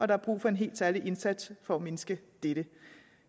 der er brug for en helt særlig indsats for at mindske dette